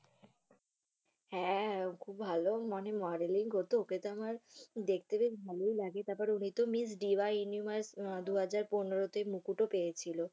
হ্যা, ও খুব ভালো মানে মডেলিং করত ওকে তো আমার দেখতে বেশ ভালই লাগে। তারপরে miss diva universe দুহাজার পনেরোতে মুকুটও পেয়েছিল